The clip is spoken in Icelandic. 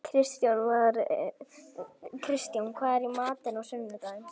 Kristján, hvað er í matinn á sunnudaginn?